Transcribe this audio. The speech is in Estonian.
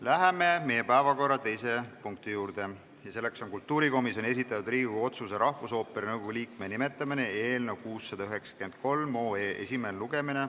Läheme meie päevakorra teise punkti juurde, see on kultuurikomisjoni esitatud Riigikogu otsuse "Rahvusooperi nõukogu liikme nimetamine" eelnõu 693 esimene lugemine.